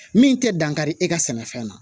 Min tɛ dankari e ka sɛnɛfɛn na